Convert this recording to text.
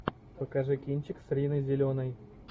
покажи кинчик с риной зеленой